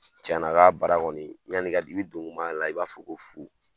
Cɛn na ka bara kɔni, yani i ka , i don kuman a la i b'a fɔ ko fu.